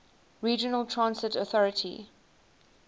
regional transit authority